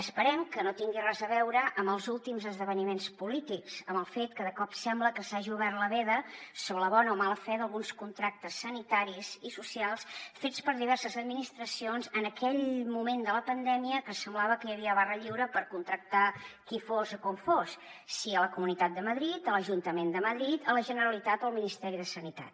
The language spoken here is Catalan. esperem que no tingui res a veure amb els últims esdeveniments polítics amb el fet que de cop sembla que s’hagi obert la veda sobre la bona o mala fe d’alguns contractes sanitaris i socials fets per diverses administracions en aquell moment de la pandèmia que semblava que hi havia barra lliure per contractar qui fos o com fos sigui a la comunitat de madrid a l’ajuntament de madrid a la generalitat o al ministeri de sanitat